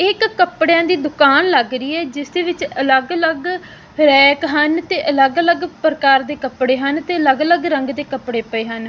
ਇੱਕ ਕੱਪੜਿਆਂ ਦੀ ਦੁਕਾਨ ਲੱਗ ਰਹੀ ਹੈ ਜਿਸ ਦੇ ਵਿੱਚ ਅਲੱਗ ਅਲੱਗ ਰੈਕ ਹਨ ਤੇ ਅਲੱਗ ਅਲੱਗ ਪ੍ਰਕਾਰ ਦੇ ਕੱਪੜੇ ਹਨ ਤੇ ਅਲੱਗ ਅਲੱਗ ਰੰਗ ਦੇ ਕੱਪੜੇ ਪਏ ਹਨ।